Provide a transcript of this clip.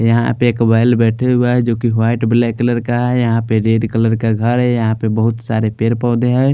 यहां पे एक बैल बैठे हुआ हैं जोकि व्हाइट ब्लैक कलर का है यहां पर रेड कलर का घर है यहां पर बहुत सारे पेड़ पौधे हैं।